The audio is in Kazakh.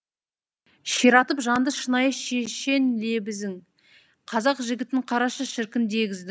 ширатып жанды шынайы шешен лебізің қазақ жігітін қарашы шіркін дегіздің